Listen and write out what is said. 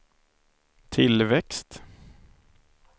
tillväxt